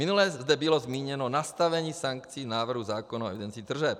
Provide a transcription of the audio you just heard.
Minule zde bylo zmíněno nastavení sankcí návrhu zákona o evidenci tržeb.